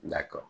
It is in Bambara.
Dakɔrɔ